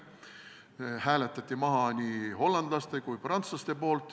Selle hääletasid maha nii hollandlased kui prantslased.